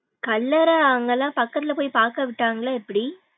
கல்லறை அவுங்கலாம் பக்கதுல போயி பாக்க விட்டாங்களா எப்டி.